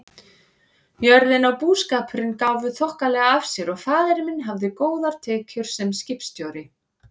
Jörðin og búskapurinn gáfu þokkalega af sér og faðir minn hafði góðar tekjur sem skipstjóri.